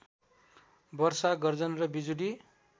वर्षा गर्जन र बिजुली